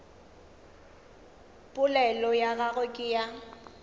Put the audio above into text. polelo ya gagwe ke ya